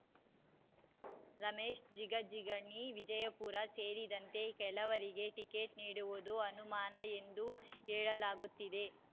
ರಮೇಶ್ ಜಿಗಜಿಣಗಿ ವಿಜಯಪುರ ಸೇರಿದಂತೆ ಕೆಲವರಿಗೆ ಟಿಕೆಟ್ ನೀಡುವುದು ಅನುಮಾನ ಎಂದು ಹೇಳಲಾಗುತ್ತಿದೆ